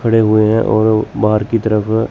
खड़े हुए हैं और बाहर की तरफ--